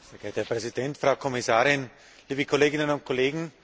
Herr Präsident, Frau Kommissarin, liebe Kolleginnen und Kollegen!